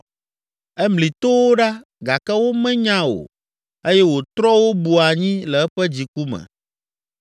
Emli towo ɖa gake womenya o eye wòtrɔ wo bu anyi le eƒe dziku me.